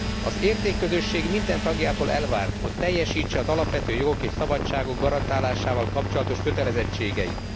Az értékközösség minden tagjától elvárt, hogy teljesítse az alapvető jogok és szabadságok garantálásával kapcsolatos kötelezettségeit.